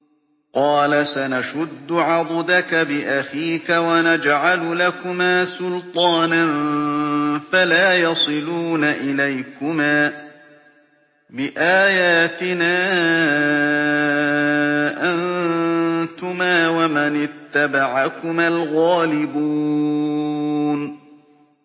قَالَ سَنَشُدُّ عَضُدَكَ بِأَخِيكَ وَنَجْعَلُ لَكُمَا سُلْطَانًا فَلَا يَصِلُونَ إِلَيْكُمَا ۚ بِآيَاتِنَا أَنتُمَا وَمَنِ اتَّبَعَكُمَا الْغَالِبُونَ